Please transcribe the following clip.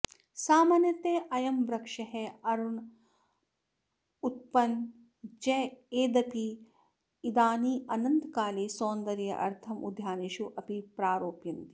सामान्यतः अयं वृक्षः अरणोत्पनः चेदपि इदानीन्तनकाले सौन्दर्यार्थम् उद्यानेषु अपि प्रारोपयन्ति